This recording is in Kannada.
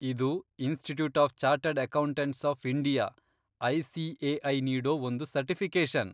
ಇದು institute of chartered accountants of India, ICAI, ನೀಡೋ ಒಂದು ಸರ್ಟಿಫಿಕೇಶನ್.